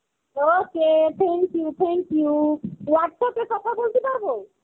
okay, thank you, thank you. Whatsapp এ কথা বলতে পারবো?